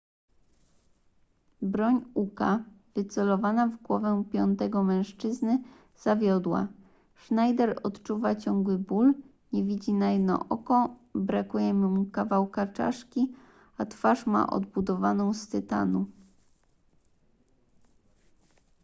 broń uka wycelowana w głowę piątego mężczyzny zawiodła schneider odczuwa ciągły ból nie widzi na jedno oko brakuje mu kawałka czaszki a twarz ma odbudowaną z tytanu